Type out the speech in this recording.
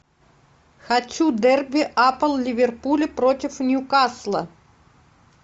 хочу дерби апл ливерпуль против ньюкасла